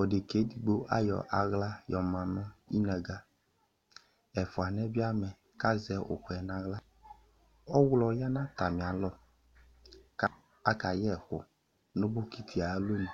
odeka yɛ edigbo ayɔ aɣla yɔ ma nʋ inaga, ɛfuwani yɛ bi amɛ k'azɛ ʋkʋ yɛ n'aɣla Ɔɣlɔ ya nʋ atami alɔ ka, akayɛkʋ nʋ bokiti yɛ ayalɔ nu